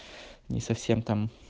не совсем там